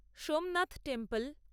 Somnath temple